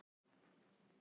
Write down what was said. Fjörnir, mun rigna í dag?